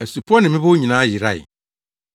Asupɔw ne mmepɔw nyinaa yerae.